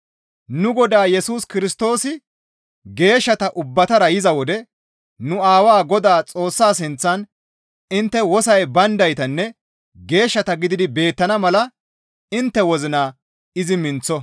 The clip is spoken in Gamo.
Nu Godaa Yesus Kirstoosi geeshshata ubbatara yiza wode nu Aawaa Godaa Xoossaa sinththan intte wosoy bayndaytanne geeshshata gididi beettana mala intte wozina izi minththo.